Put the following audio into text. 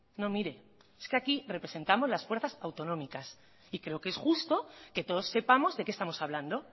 no mire es que aquí representamos las fuerzas autonómicas y creo que es justo que todos sepamos de qué estamos hablando